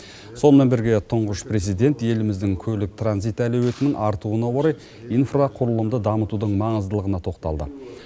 сонымен бірге тұңғыш президент еліміздің көлік транзит әлеуетінің артуына орай инфрақұрылымды дамытудың маңыздылығына тоқталды